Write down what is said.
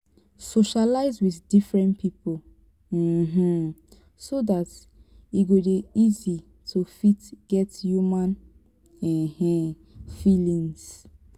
socialize with different pipo um so dat e e go dey easy to fit get human um feelings